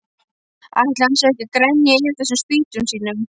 Ætli hann sé ekki að grenja yfir þessum spýtum sínum.